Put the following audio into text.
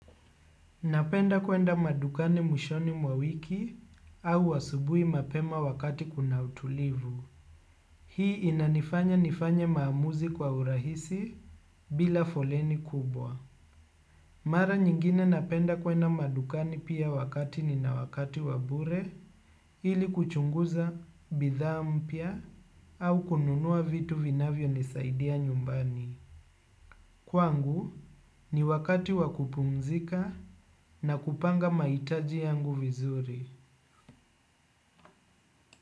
Napenda kuenda madukani mwishoni mwa wiki au asubuhi mapema wakati kuna utulivu. Hii inanifanya nifanya maamuzi kwa urahisi bila foleni kubwa. Mara nyingine napenda kuenda madukani pia wakati nina wakati wa bure ili kuchunguza bidhaa mpya au kununua vitu vinavyonisaidia nyumbani. Kwangu ni wakati wa kupumzika na kupanga mahitaji yangu vizuri.